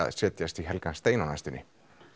sest í helgan stein á næstunni